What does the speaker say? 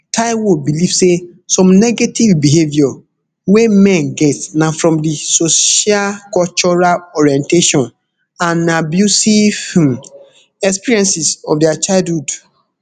taiwo believe say some negative behaviour wey men get na from di socialcultural orientation and abusive um experiences of dia childhood